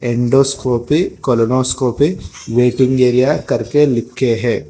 विंडोस्कोपी colonoscopy waiting area करके लिख के है।